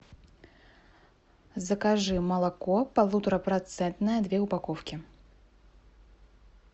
закажи молоко полуторапроцентное две упаковки